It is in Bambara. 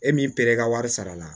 E m'i pere i ka wari sarala